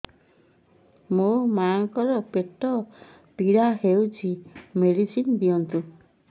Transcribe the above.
ମୋ ମାଆଙ୍କର ପେଟ ପୀଡା ହଉଛି ମେଡିସିନ ଦିଅନ୍ତୁ